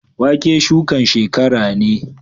Wake shukan shekara ne